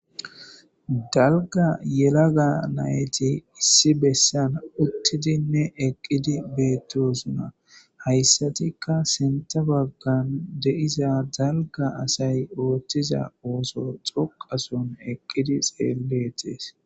Dalaga yelaga nayti issi besan utidinne eqidi betosona haysatika sintha bagan de'iza dala asy othiza otho dhoqason eqidi xeletese